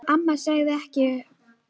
Amma sagði ekkert við því.